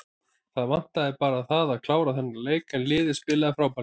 Það vantaði bara það að klára þennan leik en liðið spilaði frábærlega.